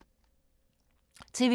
TV 2